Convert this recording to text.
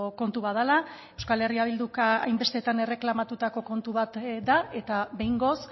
kontu bat dela euskal herria bilduk hainbestetan erreklamatutako kontu bat da eta behingoz